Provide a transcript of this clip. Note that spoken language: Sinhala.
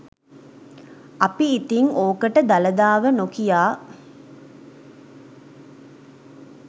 අපි ඉතින් ඕකට දළදාව නොකියා